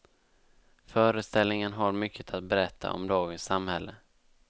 Föreställningen har mycket att berätta om dagens samhälle.